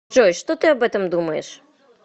джой что ты об этом думаешь